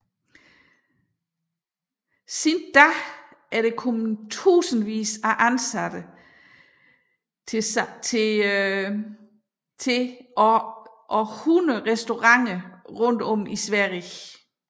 Siden da er der kommet tusindvis af ansatte til samt 100 restauranter rundt om i Sverige